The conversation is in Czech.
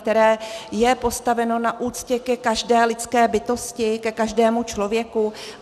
Které je postaveno na úctě ke každé lidské bytosti, ke každému člověku?